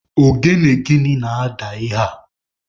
Ogene gịnị na-ada ihe a?